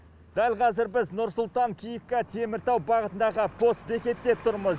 дәл қазір біз нұр сұлтан киевка теміртау бағытындағы постбекетте тұрмыз